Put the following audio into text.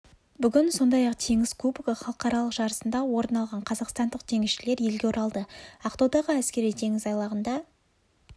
бүгін сондай-ақ теңіз кубогы халықаралық жарысында орын алған қазақстандық теңізшілер елге оралды ақтаудағы әскери теңіз айлағында